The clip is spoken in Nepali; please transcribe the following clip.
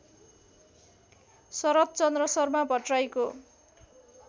शरद्चन्द्र शर्मा भट्टर्राईको